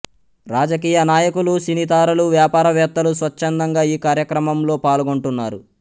రాజకీయ నాయకులు సినీతారలు వ్యాపారవేత్తలు స్వచ్ఛందంగా ఈ కార్యక్రమంలో పాల్గొంటున్నారు